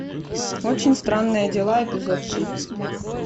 очень странные дела эпизод три